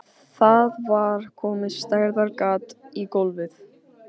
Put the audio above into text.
Það var komið stærðar gat í gólfið.